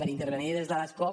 per intervenir des de l’escó